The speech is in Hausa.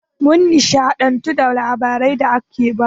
Mun nishaɗantu da labarai da aka bamu.